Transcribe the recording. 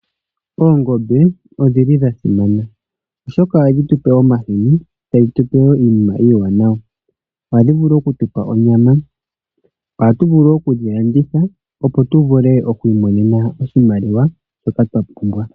Oongombe odhi li dha simana oshoka ohadhi tu pe omahini, ta dhi tu pe wo iinima iiwanawa. Ohadhi tu pe wo onyama. Ohatu vulu oku dhi landitha opo tu vule oku imonena oshimaliwa shoka twa pumbwa.